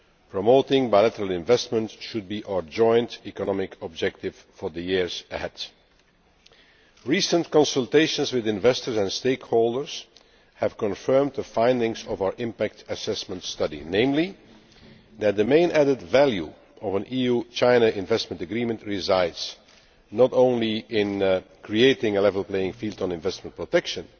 Promoting bilateral investment should be our joint economic objective for the years ahead. Recent consultations with investors and stakeholders have confirmed the findings of our impact assessment study, namely that the main added value of an EU China investment agreement resides not only in creating a level playing field on investment protection,